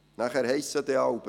Nachher heisst es dann oft: